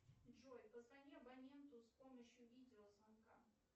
джой позвони абоненту с помощью видеозвонка